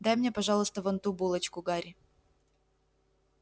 дай мне пожалуйста вон ту булочку гарри